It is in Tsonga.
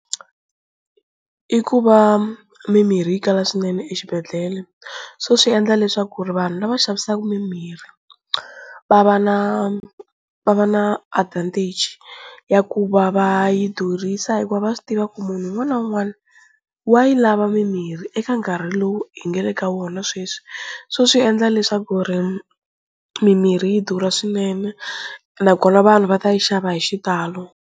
I ku va mimirhi yi kala swinene exibedhlele so swi endla leswaku ri vanhu lava xavisaka mimirhi va va na va va na advantage ya ku va va yi durhisa hikuva va swi tiva ku munhu un'wana na un'wana wa yi lava mimirhi eka nkarhi lowu hi nga le ka wona sweswi, so swi endla leswaku ri mimirhi yi durha swinene nakona vanhu va ta yi xava hi xitalo.